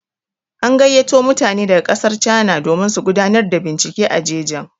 An gayyato mutane daga ƙasar cana domin su gudanar da bincike a jejin.